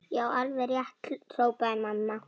Já, alveg rétt hrópaði mamma.